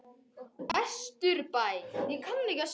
Vesturbæ